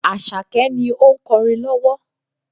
Àṣàkẹ́ ni ó ń kọrin lowo.